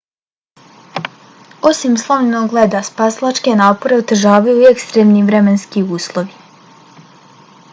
osim slomljenog leda spasilačke napore otežavaju i ekstremni vremenski uslovi